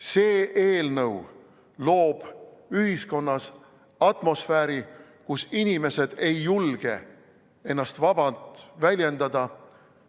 See eelnõu loob ühiskonnas atmosfääri, kus inimesed ei julge ennast vabalt väljendada.